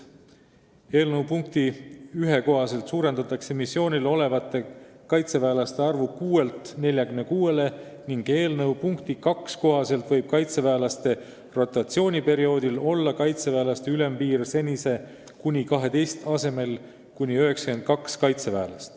Eelnõu punkti 1 kohaselt suurendatakse missioonil olevate kaitseväelaste arvu 6-lt 46-le ning eelnõu punkti 2 kohaselt võib kaitseväelaste rotatsiooniperioodil olla kaitseväelaste ülempiir senise kuni 12 asemel kuni 92.